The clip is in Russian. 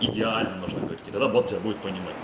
идеально нужно говорить и тогда бот тебя будет понимать